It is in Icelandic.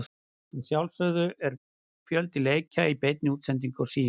Að sjálfsögðu er fjölda leikja í beinni útsendingu á Sýn.